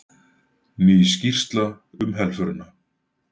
Ný skýrsla um helförina